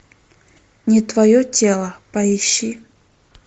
не твое тело поищи